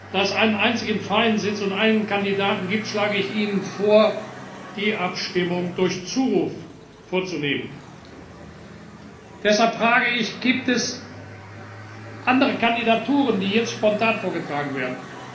Da es einen einzigen freien Sitz und einen Kandidaten gibt, schlage ich Ihnen vor, die Abstimmung durch Zuruf vorzunehmen. Deshalb frage ich Gibt es andere Kandidaturen, die jetzt spontan vorgetragen werden?